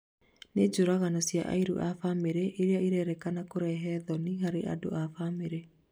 Nĩ njũragano cia ariũ a bamĩrĩ ĩria irĩrĩkana kũrehe thoni harĩ andũ a bamĩrĩ